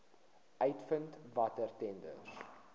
uitvind watter tenders